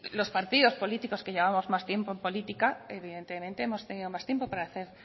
los partidos políticos que llevamos más tiempo en política evidentemente hemos tenido más tiempo para hacer